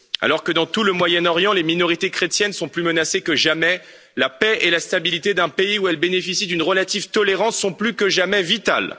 Alors que dans tout le Moyen Orient, les minorités chrétiennes sont plus menacées que jamais, la paix et la stabilité d'un pays où elles bénéficient d'une relative tolérance sont plus que jamais vitales.